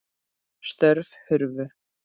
Störf hurfu.